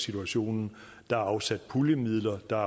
situationen der er afsat puljemidler der er